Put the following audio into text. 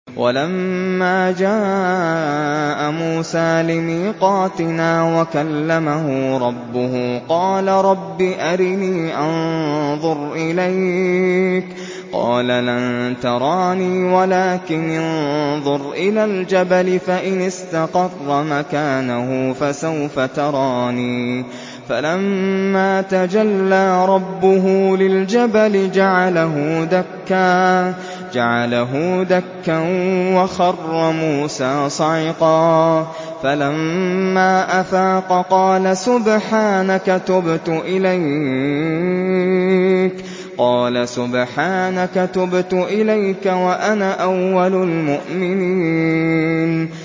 وَلَمَّا جَاءَ مُوسَىٰ لِمِيقَاتِنَا وَكَلَّمَهُ رَبُّهُ قَالَ رَبِّ أَرِنِي أَنظُرْ إِلَيْكَ ۚ قَالَ لَن تَرَانِي وَلَٰكِنِ انظُرْ إِلَى الْجَبَلِ فَإِنِ اسْتَقَرَّ مَكَانَهُ فَسَوْفَ تَرَانِي ۚ فَلَمَّا تَجَلَّىٰ رَبُّهُ لِلْجَبَلِ جَعَلَهُ دَكًّا وَخَرَّ مُوسَىٰ صَعِقًا ۚ فَلَمَّا أَفَاقَ قَالَ سُبْحَانَكَ تُبْتُ إِلَيْكَ وَأَنَا أَوَّلُ الْمُؤْمِنِينَ